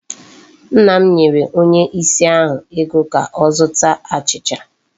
Nna m nyere onye ìsì ahụ ego ka ọ zụta achịcha.